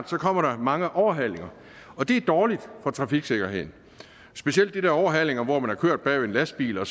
der kommer mange overhalinger og det er dårligt for trafiksikkerheden specielt de der overhalinger hvor man har kørt bagved en lastbil og